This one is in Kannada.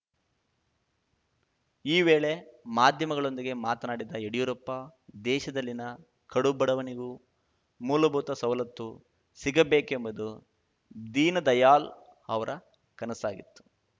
ಈ ವೇಳೆ ಮಾಧ್ಯಮಗಳೊಂದಿಗೆ ಮಾತನಾಡಿದ ಯಡಿಯೂರಪ್ಪ ದೇಶದಲ್ಲಿನ ಕಡುಬಡವನಿಗೂ ಮೂಲಭೂತ ಸವಲತ್ತು ಸಿಗಬೇಕೆಂಬುದು ದೀನದಯಾಳ್‌ ಅವರ ಕನಸಾಗಿತ್ತು